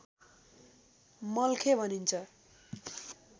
मल्खे भनिन्छ